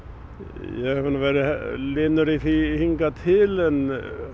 ég hef nú verið linur í því hingað til en